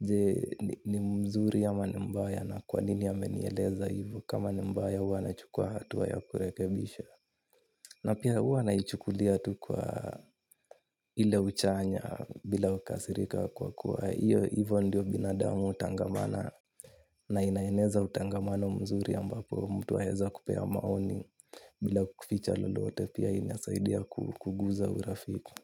je ni mzuri ama nimbaya na kwanini ya amenieleza hivyo kama nimbaya huwa na chukua hatuwa ya kurekebisha. Na pia huwa naichukulia tu kwa ile uchanya bila kukasirika kwa kuwa hio hivyo ndiyo binadamu hutangamana na inaeneza utangamano mzuri ambapo mtu aweza kupea maoni bila kuficha lolote pia inasaidia ku kuguza urafiki.